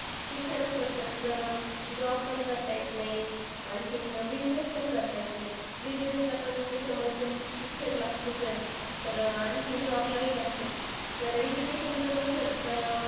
शिक्षणच नसेल तर अं job पण करता येत नाही. आणखीन, business पण करता येत नाही. Business पण समज शिक्षण लागतच आहे. तर आणखीन business लाही लागतं. तर education जर नसेल तर अह